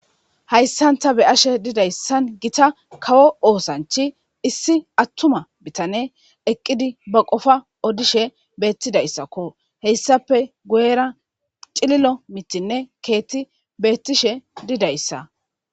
Hayssanta be ashe didayssan gita kawo oosanchi issi attuma bitane eqqidi ba qofa odishe beettidayssakko heyssape gu7era cililo mitinne keetti beettishe didayssa.